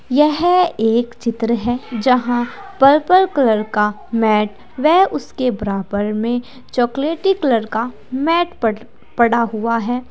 यह एक चित्र है जहां पर्पल कलर का मैट वेह उसके बराबर में चॉकलेटी कलर का मैट पट पड़ा हुआ हैं।